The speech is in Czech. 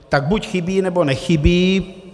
Tak buď chybí, nebo nechybí.